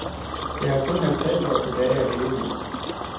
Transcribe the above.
Jeg har kun fyrre halvtreds år tilbage at leve i.